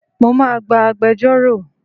Mo máa gba agbejórò.